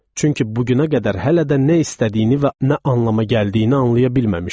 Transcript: Çünki bu günə qədər hələ də nə istədiyini və nə anlama gəldiyini anlaya bilməmişəm.